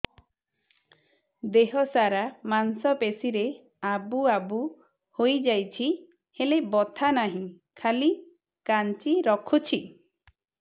ଦେହ ସାରା ମାଂସ ପେଷି ରେ ଆବୁ ଆବୁ ହୋଇଯାଇଛି ହେଲେ ବଥା ନାହିଁ ଖାଲି କାଞ୍ଚି ରଖୁଛି